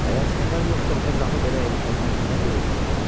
Əgər səfər yoxsa onda qapı belə erkəndən niyə döyülürsün?